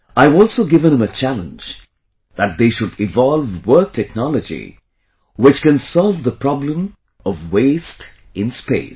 I have also given him a challenge that they should evolve work technology, which can solve the problem of waste in space